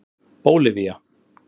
Bólivía